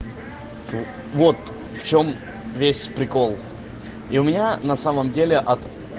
вот в чем весь прикол и у меня на самом деле от